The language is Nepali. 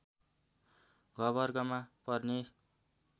घ वर्गमा पर्ने